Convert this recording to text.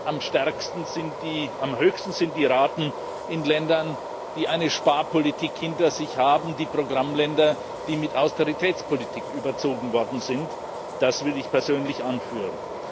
Am höchsten sind die Raten in Ländern, die eine Sparpolitik hinter sich haben, in den Programmländern, die mit Austeritätspolitik überzogen worden sind das will ich persönlich anführen.